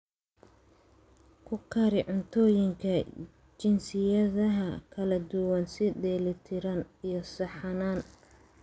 Ku kari cuntooyinka jinsiyadaha kala duwan si dheellitiran iyo saxsanaan.